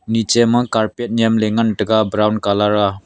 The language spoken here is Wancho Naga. niche ma carpet nyem le ngan tega brown colour aa.